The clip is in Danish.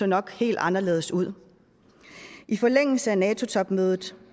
nok se helt anderledes ud i forlængelse af nato topmødet